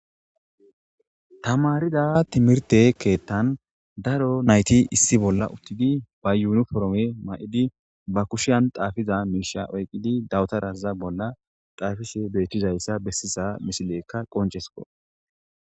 tamarida timirte keettan daro nayti issi bolla uttidi ba yuunu forome may7idi ba kushiyan xaafiza miisha oyqqidi dawutaraza bolla xaafise beettizayssa bessisa misilekka qonchesko.